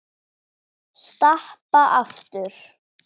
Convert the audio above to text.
Stappa aftur.